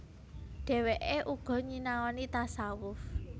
Dhèwèké uga nyinaoni tasawuf